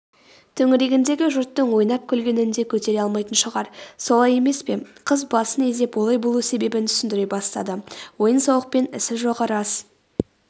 төңірегіндегі жұрттың ойнап-күлгенін де көтере алмайтын шығар солай емес пе қыз басын изеп олай болу себебін түсіндіре бастады ойын-сауықпен ісі жоғы рас